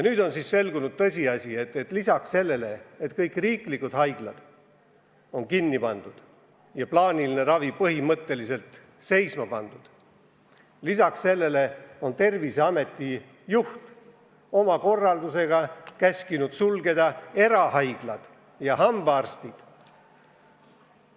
Nüüd on selgunud tõsiasi, et lisaks sellele, et kõik riiklikud haiglad on kinni pandud ja plaaniline ravi põhimõtteliselt peatatud, on Terviseameti juht oma korraldusega käskinud sulgeda ka erahaiglad ja hambaarstid.